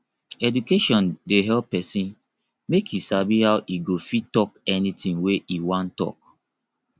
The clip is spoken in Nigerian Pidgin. education dey help pesin make e sabi how e go fit talk anything wey e wan talk